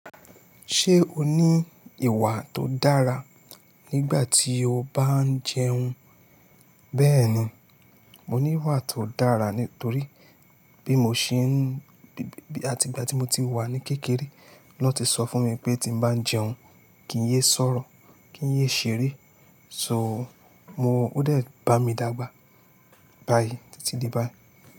Ṣé o ní ìwà tó dára nígbà tí o bá ń jẹun? Bẹ́ẹ̀ni, mo ní ìwà tó dára nítorí bí mo ṣe ń, àti ìgbà tí mo ti wà ní kékeré lọ́ ti sọ fún mi pé tí mo bá ń jẹun kí n yé sọ̀rọ̀, kí n yé ṣeré. So mo, ó dẹ̀ bá mi dàgbà. Báyìí títí di báyìí.